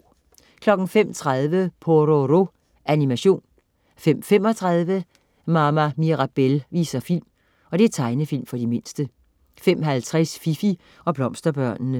05.30 Pororo. Animation 05.35 Mama Mirabelle viser film. Tegnefilm for de mindste 05.50 Fifi og Blomsterbørnene